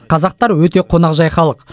қазақтар өте қонақжай халық